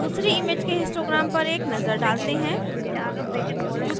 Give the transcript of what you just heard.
दूसरी image के histogram पर एक नजर डालते हैं